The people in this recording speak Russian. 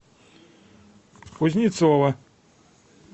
кузнецова